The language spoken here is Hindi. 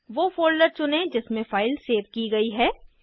वो फोल्डर चुनें जिसमें फाइल सेव की गयी है